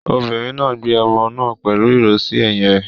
Obìnrin náà gbé ọmọ náà pẹ̀lú ìró sí ẹ̀yìn rẹ̀.